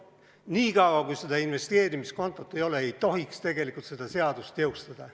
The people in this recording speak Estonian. Niikaua, kui seda investeerimiskontot ei ole, ei tohiks tegelikult seda seadust jõustada.